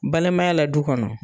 Balimaya la du kɔnɔ.